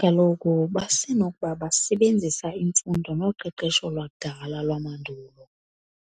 Kaloku basenokuba basebenzisa imfundo noqeqesho lwakudala lwamandulo,